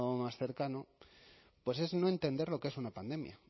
más cercano pues es no entender lo que es una pandemia